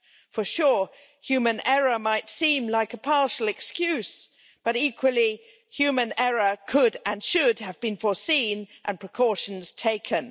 For sure, human error might seem like a partial excuse, but equally, human error could, and should, have been foreseen and precautions taken.